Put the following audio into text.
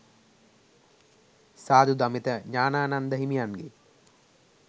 සාධු දමිත ඥානානන්ද හිමියන්ගෙ